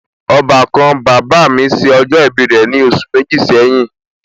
Ọbàkan bàbá mi ṣe ọjọ ibi rẹ̀ ní oṣù méjì sẹ́yìn